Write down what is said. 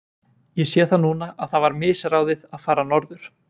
Ég sé það núna að það var misráðið að fara norður.